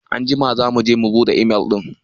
Anjima za mu je mu buɗe imel ɗin.